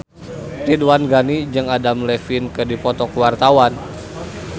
Ridwan Ghani jeung Adam Levine keur dipoto ku wartawan